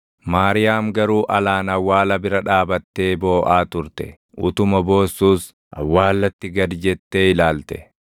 Maariyaam garuu alaan awwaala bira dhaabattee booʼaa turte. Utuma boossuus awwaallatti gad jettee ilaalte;